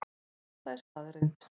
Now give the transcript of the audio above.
Þetta er staðreynd